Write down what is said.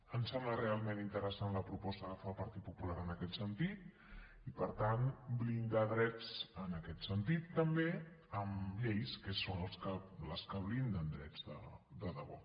em sembla realment interessant la proposta que fa el partit popular en aquest sentit i per tant blindar drets en aquest sentit també amb lleis que són les que blinden drets de debò